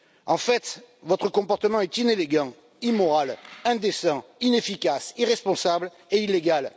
En fait, votre comportement est inélégant, immoral, indécent, inefficace, irresponsable et illégal.